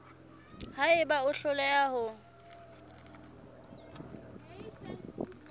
ha eba o hloleha ho